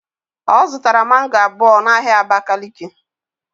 Ọ zụtara mango abụọ n'ahịa abakiliki